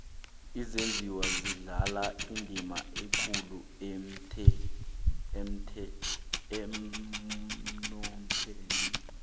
izenjiwa zidlala indima ekulu emnothweni